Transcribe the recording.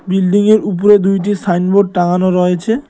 বিল্ডিংয়ের উপরে দুইটি সাইনবোর্ড টাঙানো রয়েছে।